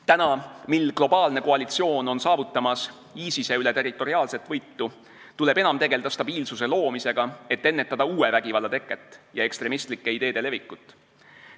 Nüüd, mil globaalne koalitsioon on saavutamas ISIS-e üle territoriaalset võitu, tuleb enam tegeleda stabiilsuse loomisega, et ennetada uue vägivalla teket ja ekstremistlike ideede levikut.